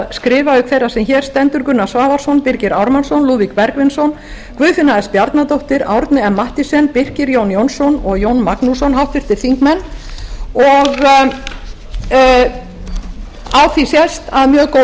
skrifa auk þeirrar sem hér stendur háttvirtir þingmenn gunnar svavarsson birgir ármannsson lúðvík bergvinsson guðfinna s bjarnadóttir árni m mathiesen birkir j jónsson og jón magnússon á því sést að mjög góð